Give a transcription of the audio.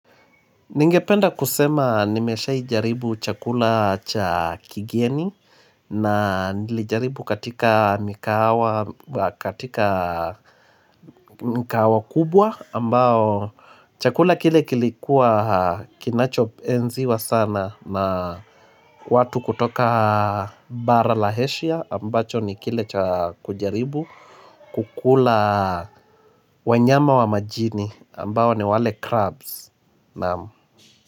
Ningependa kusema nimesha jaribu chakula cha kigeni na nilijaribu katika migahawa kubwa ambao chakula kile kilikuwa kinacho enziwa sana na watu kutoka bara la eshia ambacho nikile kujaribu kukula wanyama wa majini ambao ni wale crabs.